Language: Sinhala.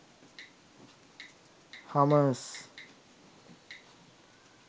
hummers